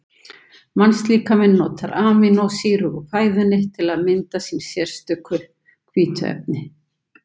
Mannslíkaminn notar amínósýrur úr fæðinu til að mynda sín sérstöku hvítuefni.